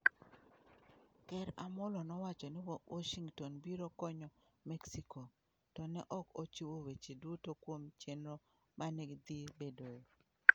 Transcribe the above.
ker Amollo nowacho ni Washington biro konyo Mexico, to ne ok ochiwo weche duto kuom chenro ma ne dhi bedoe.